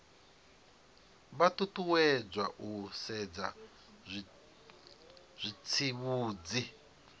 vha ṱuṱuwedzwa u sedza zwitsivhudzi